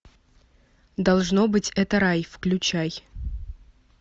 должно быть это рай включай